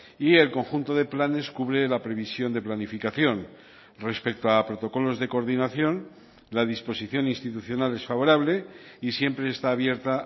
y el conjunto de planes cubre la previsión de planificación respecto a protocolos de coordinación la disposición institucional es favorable y siempre está abierta